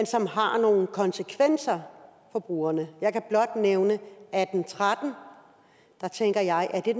som har nogle konsekvenser for brugerne jeg kan blot nævne atten tretten der tænker jeg er det